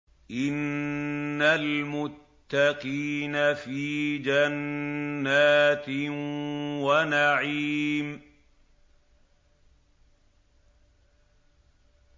إِنَّ الْمُتَّقِينَ فِي جَنَّاتٍ وَنَعِيمٍ